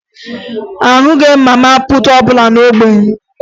Ahụghị m mama puutu ọbụla n'ógbè m